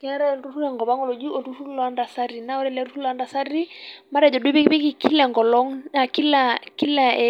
Keetae tengopnang' oltururr oji oltururr loo ntasati, naa ore ele turrur matejo duo epikipiki Kila engolong' Kila